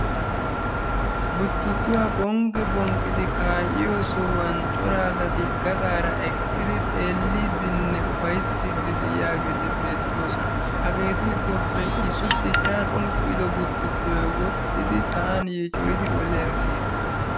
Buttuttuwa phonqqi phonqqidi kaa'iyo sohuwan cora asati eqqidi xeelliiddinne ufayttiiddi de'iyageeti beettoosona. Et giddoppe issoy sinttaa phonqqido buttuttoy woxxidi sa'an yiicoyidi oliyaggiis.